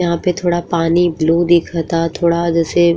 यहाँ पे थोड़ा पानी ब्लू दिखता। थोड़ा जैसे --